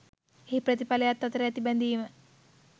එහි ප්‍රතිඵලයත් අතර ඇති බැඳීම